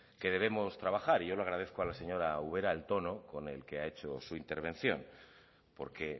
que debemos trabajar yo le agradezco a la señora ubera el tono con el que ha hecho su intervención porque